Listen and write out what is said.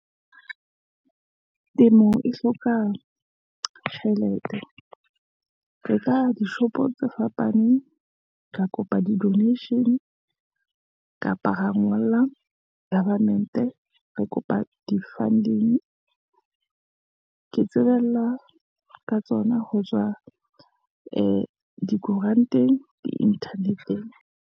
Temo e hloka tjhelete, re ka dishopo tse fapaneng, re kopa di donation-e , kapa ra ngolla government, re kopa di-funding. Ke tsebella ka tsona ho tswa ee dikoranteng, di-internet-eng.